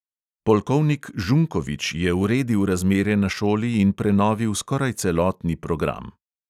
Polkovnik žunkovič je uredil razmere na šoli in prenovil skoraj celotni program.